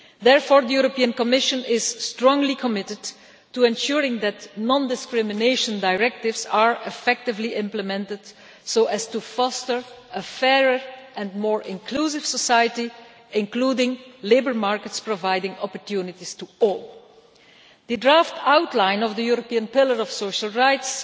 Therefore, the Commission is strongly committed to ensuring that non discrimination directives are effectively implemented, so as to foster a fairer and more inclusive society, including labour markets providing opportunities to all. The draft outline of the European Pillar of Social Rights